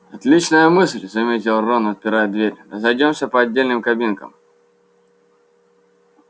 отличная мысль заметил рон отпирая дверь разойдёмся по отдельным кабинкам